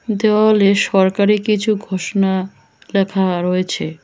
দেওয়ালে সরকারি কিছু ঘোষণা ল্যাখা রয়েছে।